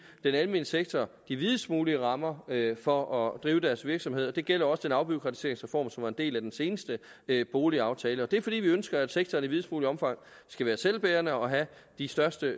den almene sektor de videst mulige rammer for at drive deres virksomhed det gælder også den afbureaukratiseringsreform som var en del af den seneste boligaftale og det er fordi vi ønsker at sektoren i videst muligt omfang skal være selvbærende og have de største